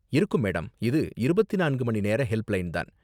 இருக்கும் மேடம். இது இருபத்தி நான்கு மணி நேர ஹெல்ப்லைன் தான்.